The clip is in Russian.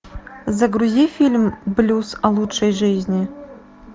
загрузи фильм блюз о лучшей жизни